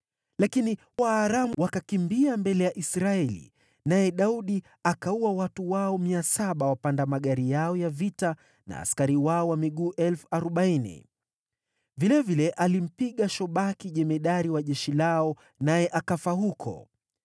Lakini Waaramu wakakimbia mbele ya Israeli, naye Daudi akawaua waendesha magari mia saba na askari wao wa miguu 40,000. Vilevile alimpiga Shobaki jemadari wa jeshi lao, naye akafa huko.